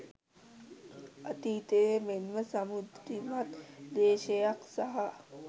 අතීතයේ මෙන්ම සමෘද්ධිමත් දේශයක් සහ